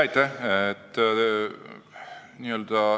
Aitäh!